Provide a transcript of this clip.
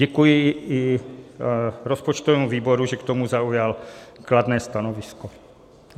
Děkuji i rozpočtovému výboru, že k tomu zaujal kladné stanovisko.